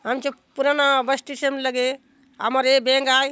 आमचो पुराना bus stand लगे आमर ये बैंक आय।